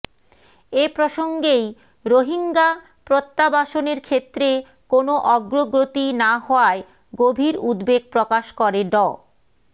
এ প্রসঙ্গেই রোহিঙ্গা প্রত্যাবাসনের ক্ষেত্রে কোনো অগ্রগতি না হওয়ায় গভীর উদ্বেগ প্রকাশ করে ড